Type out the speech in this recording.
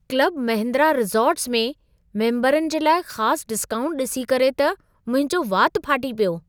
Club Mahindra resorts में मेम्बरनि जे लाइ ख़ास डिस्काऊंट ॾिसी करे त मुंहिंजो वात फाटी पियो।